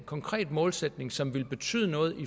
konkret målsætning som ville betyde noget